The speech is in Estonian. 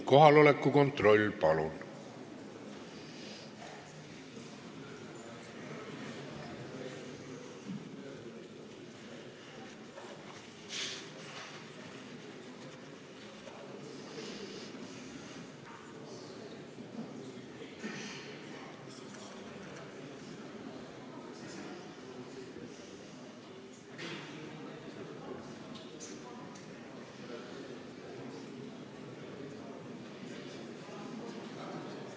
Kohaloleku kontroll, palun!